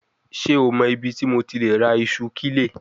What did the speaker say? Ṣe o mọ ibiti MO ti le ra iṣu kile?